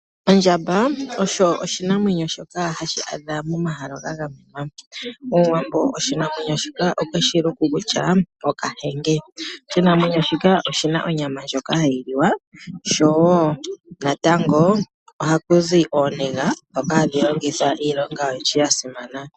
Ondjamba osho oshinamwenyo shoka hashi adhika momahala ga gamenwa. Omuwambo oshinamwenyo shika okwe shi luku kutya Okahenge. Oshinamwenyo shika oshina onyama ndjoka hayi liwa, sho wo natango ohaku zi ooniga, ndhoka hadhi longithwa iilonga oyindji ya simana.